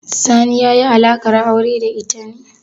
Sani ya yi alaƙar aure da ita ne?